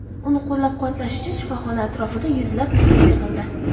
Uni qo‘llab-quvvatlash uchun shifoxona atrofida yuzlab muxlis yig‘ildi.